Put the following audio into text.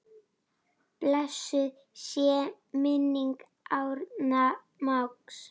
Blessuð sé minning Árna mágs.